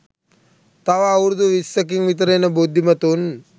තව අවුරුදු විස්සකින් විතර එන බුද්ධිමතුන්